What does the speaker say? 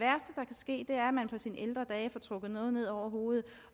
ske er at man på sine ældre dage får trukket noget ned over hovedet